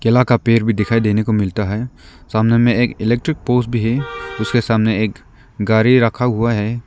केला का पेड़ भी दिखाई देने को मिलता है सामने में एक इलेक्ट्रिक पोस भी है उसके सामने एक गाड़ी रखा हुआ है।